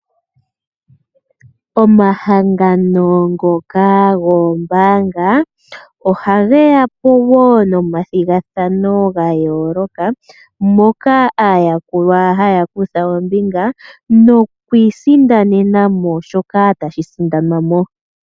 Omahangano ngoka goombaanga oha ge ya po wo nomathigathano ga yooloka, moka aayakulwa haya kutha ombinga noku i sindanena mo shoka tashi sindanwa mo.